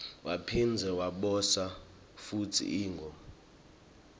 waphindze waboshwa futsi ingo